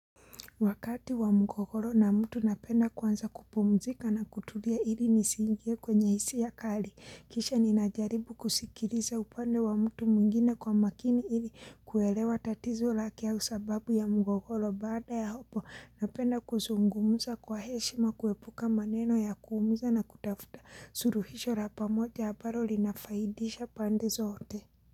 Wakati wa mgogoro na mtu napenda kwanza kupumzika na kutulia ili nisiingie kwenye hisia kali. Kisha ninajaribu kusikiriza upande wa mtu mwingine kwa makini ili kuelewa tatizo lake au sababu ya mgogoro baada ya hapo. Napenda kuzungumza kwa heshima kuepuka maneno ya kuumiza na kutafuta suruhisho ra pamoja ambaro linafaidisha pande zote.